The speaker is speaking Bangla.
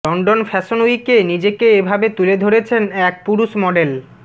লন্ডন ফ্যাশন উইকে নিজেকে এ ভাবে তুলে ধরেছেন এক পুরুষ মডেল